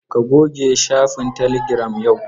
Ka goge shafin telegiram yau.